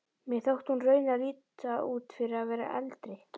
Mér þótti hún raunar líta út fyrir að vera eldri.